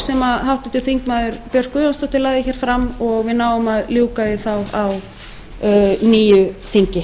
sem háttvirtur þingmaður björk guðjónsdóttir lagði hér fram og við náum að ljúka því á nýju þingi